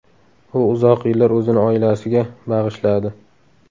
U uzoq yillar o‘zini oilasiga bag‘ishladi.